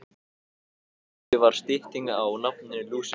Lúsi var stytting á nafninu Lúsífer.